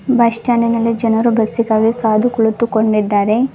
Bus ಸ್ಟಾಂಡಿನಲ್ಲಿ ಜನರು ಬಸ್ಸಿಗಾಗಿ ಕಾದು ಕುಳಿತುಕೊಂಡಿದ್ದಾರೆ.